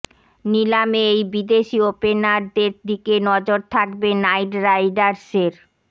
নিলামে এই বিদেশি ওপেনারদের দিকে নজর থাকবে নাইট রাইডার্সের